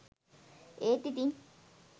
ඒත් ඉතින්